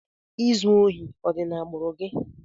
ịzụ ohi ọ dị na agbùru gị?